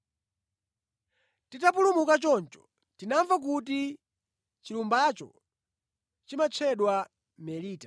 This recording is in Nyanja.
Titapulumuka choncho, tinamva kuti chilumbacho chimatchedwa Melita.